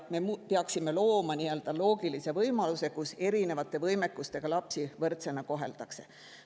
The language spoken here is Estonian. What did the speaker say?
Me peaksime looma, kus erinevate võimekustega lapsi koheldakse võrdsena.